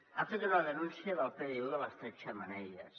ha fet una denúncia del pdu de les tres xemeneies